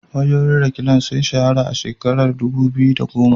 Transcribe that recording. Wayoyin Reklan sun shahara a shekarar dubu biyu da goma.